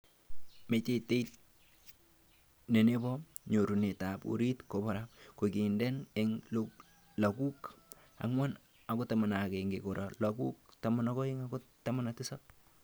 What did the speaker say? Metaitet ne nebo nyorunetab orit kobara kokikindenan eng laguk 4-11 kora laguk 12-17.